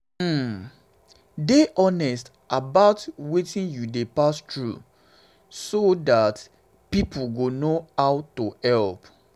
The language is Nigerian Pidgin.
um dey honest about wetin you dey pass through so um dat um pipo go know how to help